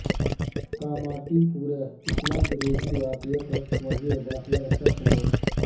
کاماٹی پورہ عصمت ریزی واقعہ پر وزیر داخلہ کا سخت نوٹ